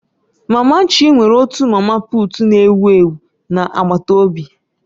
Mama Chi nwere otu mama puut ewu ewu na agbataobi